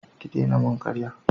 Ki dena mun karya!